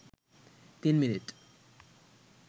৩ minute